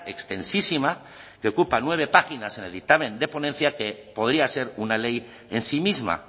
extensísima que ocupa nueve páginas en el dictamen de ponencia que podría ser una ley en sí misma